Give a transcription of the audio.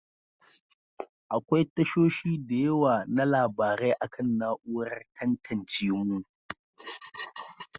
Akwai tashoshi da yawa na labarai akan na'urar tantance mu.